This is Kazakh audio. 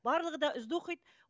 барлығы да үздік оқиды